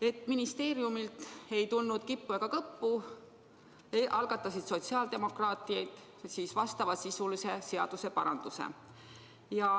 Et ministeeriumist ei tulnud kippu ega kõppu, algatasid sotsiaaldemokraadid ise vastava sisuga seaduseparanduse.